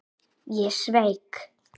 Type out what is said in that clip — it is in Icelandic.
Ég sveik.